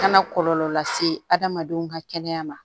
Kana kɔlɔlɔ lase adamadenw ka kɛnɛya ma